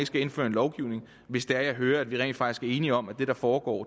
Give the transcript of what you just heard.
skal indføre lovgivning hvis jeg hører at vi rent faktisk er enige om at det der foregår